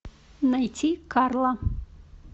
найти карла